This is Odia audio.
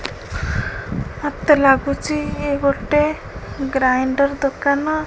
ମତେ ଲାଗୁଚି ଏ ଗୋଟେ ଗ୍ରାଇଣ୍ଡର ଦୋକାନ।